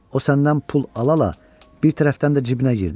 O səndən pul ala-ala bir tərəfdən də cibinə girdi.